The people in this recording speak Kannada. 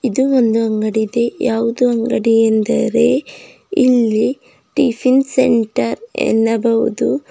ಇದು ಒಂದು ಅಂಗಡಿ ಇದೆ ಯಾವುದು ಅಂಗಡಿ ಎಂದರೆ ಇಲ್ಲಿ ಟಿಫಿನ್ ಸೆಂಟರ್ ಎನ್ನಬಹುದು.